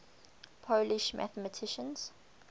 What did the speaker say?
polish mathematicians